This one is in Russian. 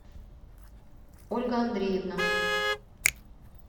ольга андреевна